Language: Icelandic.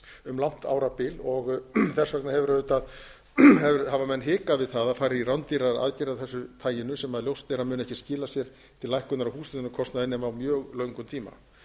um langt árabil þess vegna hafa menn hikað við það að fara í rándýrar aðgerðir af þessu taginu sem ljóst er að muni ekki skila sér til lækkunar á húshitunarkostnaði nema á mjög löngum tíma